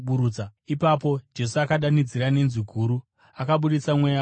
Ipapo Jesu akadanidzira nenzwi guru, akabudisa mweya wake.